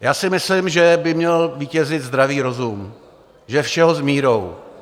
Já si myslím, že by měl vítězit zdravý rozum, že všeho s mírou.